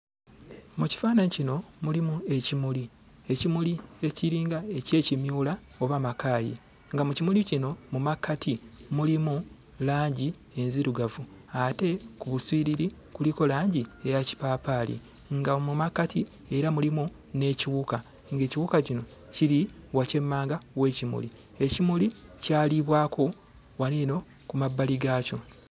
Mu kifaananyi kino, mulimu ekimuli. Ekimuli ekiringa eky'ekimyula oba Makaayi. Nga mu kimuli kino mu makkati mulimu langi enzirugavu ate ku buswiriri kuliko langi eya Kipaapaali, nga mu makkati era mulimu n'ekiwuka. Ng'ekiwuka kino kiri wakyemmanga w'ekimuli. Ekimuli kyaliibwako waneeno ku mabbali gaakyo.